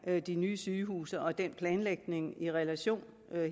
med de nye sygehuse og den planlægning i relation